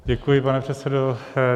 Děkuji, pane předsedo.